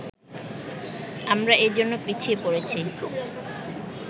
আমরা এজন্য পিছিয়ে পড়েছি